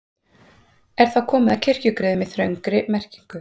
Er þá komið að kirkjugriðum í þröngri merkingu.